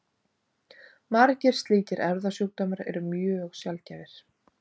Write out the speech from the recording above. Margir slíkir erfðasjúkdómar eru mjög sjaldgæfir.